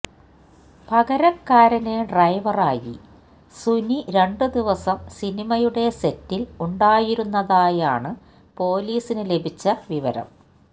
പകരക്കാരന് ഡ്രൈവറായി സുനി രണ്ട് ദിവസം സിനിമയുടെ സെറ്റില് ഉണ്ടായിരുന്നതായാണ് പോലീസിന് ലഭിച്ച വിവരം